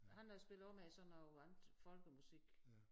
Han øh spiller også med i sådan noget andet folkemusik